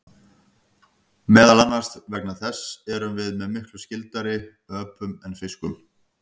Meðal annars þess vegna erum við miklu skyldari og líkari öpum en fiskum.